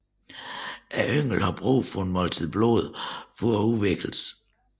Ynglen har brug for et måltid blod for at udvikles